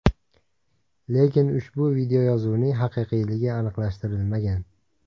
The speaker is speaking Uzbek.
Lekin ushbu videoyozuvning haqiqiyligi aniqlashtirilmagan.